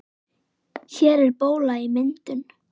Hér er bóla í myndun.